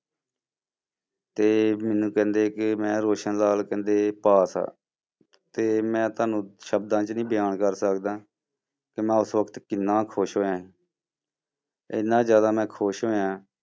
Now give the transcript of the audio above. ਤੇ ਮੈਨੂੰ ਕਹਿੰਦੇ ਕਿ ਮੈਂ ਕਹਿੰਦੇ ਪਾਸ ਆ, ਤੇ ਮੈਂ ਤੁਹਾਨੂੰ ਸ਼ਬਦਾਂ 'ਚ ਨੀ ਬਿਆਨ ਕਰ ਸਕਦਾ, ਕਿ ਮੈਂ ਉਸ ਵਕਤ ਕਿੰਨਾ ਖ਼ੁਸ਼ ਹੋਇਆਂ ਇੰਨਾ ਜ਼ਿਆਦਾ ਮੈਂ ਖ਼ੁਸ਼ ਹੋਇਆਂ,